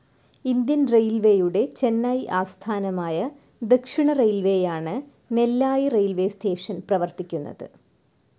Indian റെയിൽവേയുടെ ചെന്നൈ ആസ്ഥാനമായ ദക്ഷിണറെയിൽവേയാണ് നെല്ലായി റെയിൽവേസ്‌ സ്റ്റേഷൻ പ്രവർത്തിക്കുന്നത്.